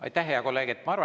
Aitäh, hea kolleeg!